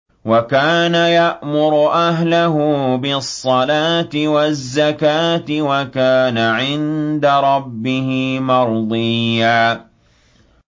وَكَانَ يَأْمُرُ أَهْلَهُ بِالصَّلَاةِ وَالزَّكَاةِ وَكَانَ عِندَ رَبِّهِ مَرْضِيًّا